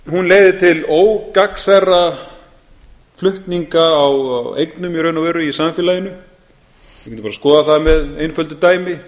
hún leiðir til ógagnsærra flutninga á eignum í raun og veru í samfélaginu við getum bara skoðað það með einföldu dæmi